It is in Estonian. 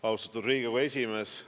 Austatud Riigikogu esimees!